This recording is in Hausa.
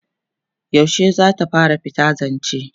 yaushe zata fara fita zance?